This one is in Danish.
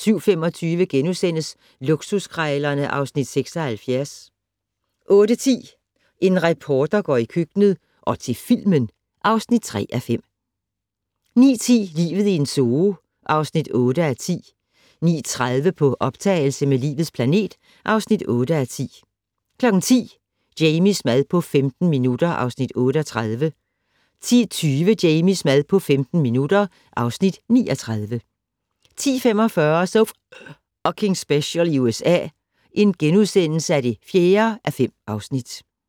07:25: Luksuskrejlerne (Afs. 76)* 08:10: En reporter går i køkkenet - og til filmen (3:5) 09:10: Livet i en zoo (8:10) 09:30: På optagelse med "Livets planet" (8:10) 10:00: Jamies mad på 15 minutter (Afs. 38) 10:20: Jamies mad på 15 minutter (Afs. 39) 10:45: So F***ing Special i USA (4:5)*